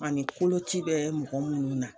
Ani koloci bɛ mɔgɔ minnu na